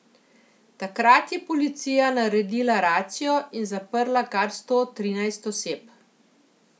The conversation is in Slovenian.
Takrat je policija naredila racijo in zaprla kar sto trinajst oseb.